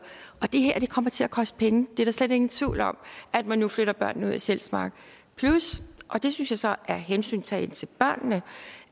det kommer til at koste penge det er der slet ingen tvivl om at man nu flytter børnene ud af sjælsmark plus og det synes jeg så er hensyntagen til børnene